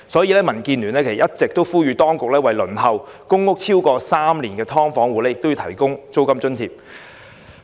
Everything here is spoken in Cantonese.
因此，民主建港協進聯盟一直呼籲當局為輪候公屋超過3年的"劏房戶"提供租金津貼。